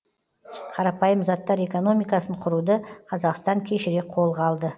қарапайым заттар экономикасын құруды қазақстан кешірек қолға алды